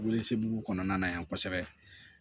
Wolosɛbɛn kɔnɔna na yan kosɛbɛ